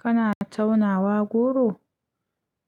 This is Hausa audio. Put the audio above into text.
Kana taunawa goro?